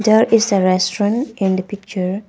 There is a restaurant in the picture.